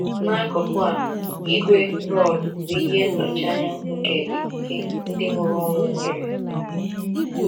N’akụkụ a, igwe roọdụ bụ ihe nnọchianya nke ikike ndị mụrụ ụmụ nwere.